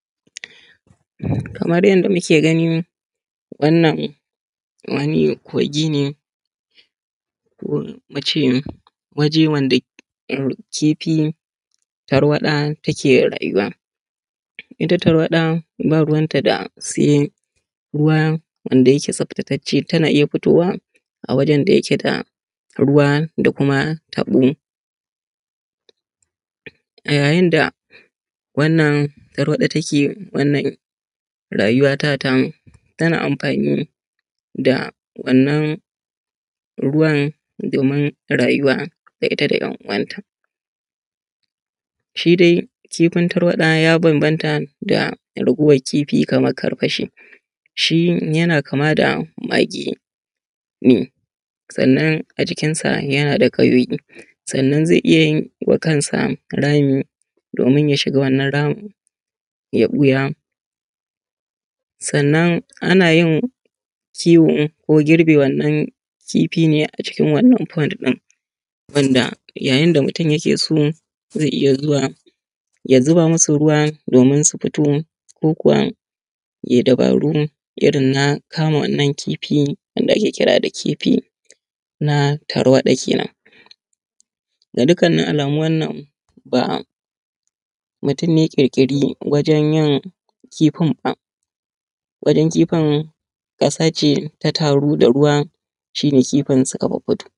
Kamar yanda muke gani wannan wani kogi ne ko mu ce waje wanda kifi tarwaɗa take rayuwa. Ita tarwaɗa ba ruwanta da sai ruwa wanda yake tsaftatace ta na iya fitowa a wajan da yake da ruwa da kuma taɓo. A yayin da wannan tarwaɗa take wannan rayuwata ta tana amfani da wannan ruwa domin rayuwa da ita da ‘yan uwanta. Shi dai kifin tarwaɗa ya bambanta da raguwan kifi kamar karfashi, shi yana kama da mage ne, sannan a jikinsa yana da ƙayoyi, sannan zai iya wa kansa rami domin ya shiga wannan ramin ya ɓuya. Sannan ana yin kiwo ko girbe wannan kifi ne a cikin wannan pond ɗin wanda yayin da mutun yake so zai iya zuwa ya zuba masu ruwa domin su fito ko kuwa yai dabaru irin na kama wannan kifi wanda ake kira da kifi na tarwaɗa kenan. Ga dukkanin alamu wannan ba mutun ne ya ƙirƙiri wajan yin kifin ba, wajan kifin ƙasa ce ta taru da ruwa shi ne kifin suka fiffito.